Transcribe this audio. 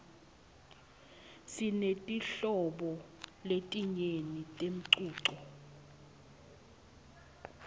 sinetinhlobo letinyenti temcuco